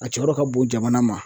A cɛyɔrɔ ka bon jamana ma.